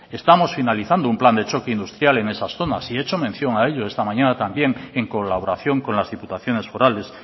estamos finalizando un plan de choque industrial en esas zonas y he hecho mención a ello esta mañana también en colaboración con las diputaciones forales